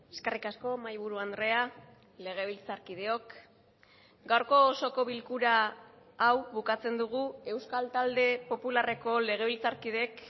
eskerrik asko mahaiburu andrea legebiltzarkideok gaurko osoko bilkura hau bukatzen dugu euskal talde popularreko legebiltzarkideek